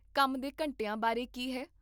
ਕੰਮ ਦੇ ਘੰਟਿਆਂ ਬਾਰੇ ਕੀ ਹੈ?